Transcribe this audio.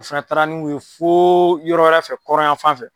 O fana taara n'u ye fo yɔrɔ wɛrɛ fɛ kɔrɔn yan fan fɛ.